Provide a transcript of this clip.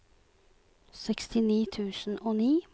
sekstini tusen og ni